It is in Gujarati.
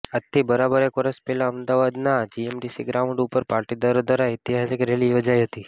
આજથી બરાબર એક વર્ષ પહેલા અમદાવાદના જીએમડીસી ગ્રાઉન્ડ ઉપર પાટીદારો દ્વારા ઐતિહાસિક રેલી યોજાઈ હતી